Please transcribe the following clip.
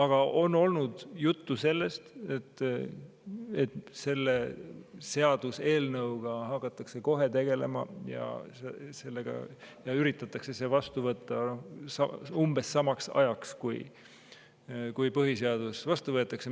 Ja on olnud juttu, et selle seaduseelnõuga hakatakse kohe tegelema ja üritatakse see vastu võtta umbes samaks ajaks, kui põhiseaduse vastu võetakse.